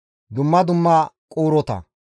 dumma dumma quurota,